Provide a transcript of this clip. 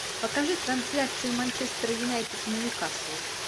покажи трансляцию манчестер юнайтед ньюкасл